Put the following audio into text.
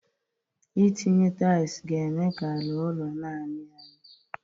Ị tinye taịlu ga-eme ka ala ụlọ na-amị amị